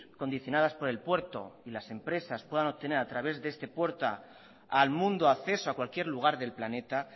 condicionadas por el puerto y las empresas puedan obtener a través de este puerto al mundo acceso a cualquier lugar del planeta